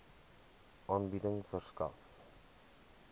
aanbieding verskaf